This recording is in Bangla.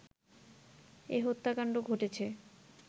এ হত্যাকাণ্ড ঘটেছে